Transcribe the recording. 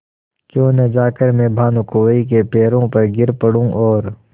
क्यों न जाकर मैं भानुकुँवरि के पैरों पर गिर पड़ूँ और